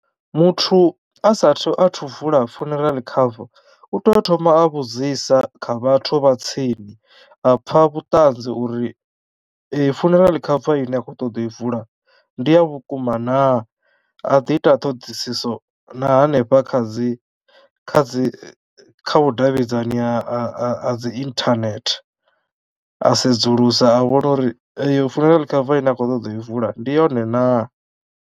Muthu a sathu athu vula funeral cover u tea u thoma a vhudzisa kha vhathu vha tsini a pfha vhuṱanzi uri funeral cover ine a khou ṱoḓa u i vula ndi a vhukuma naa, a ḓi ita ṱhoḓisiso na hanefha kha dzi kha dzi kha vhudavhidzani ha ha ha ha dzi internet a sedzulusa a vhona uri eyo funeral cover ine a khou ṱoḓa u i vula ndi yone naa.